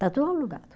Está tudo alugado.